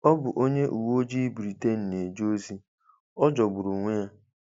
Ọ bụ onye uwe ojii Britain na-eje ozi — ọ jọgburu onwe ya.